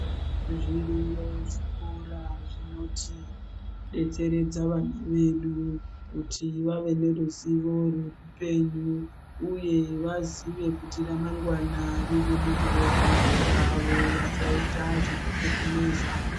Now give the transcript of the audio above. Zviriyo zvikora zvinotidetseredza vana vedu kuti vave neruzivo rwupenyu uye vazive kuti ramangwana riri mumaoko avo. Vasaita zvekukekereza.